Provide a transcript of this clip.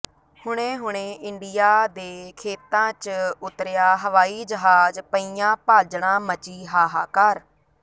ਹੁਣੇ ਹੁਣੇ ਇੰਡੀਆ ਦੇ ਖੇਤਾਂ ਚ ਉਤਰਿਆ ਹਵਾਈ ਜਹਾਜ ਪਈਆਂ ਭਾਜੜਾਂ ਮਚੀ ਹਾਹਾਕਾਰ